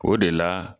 O de la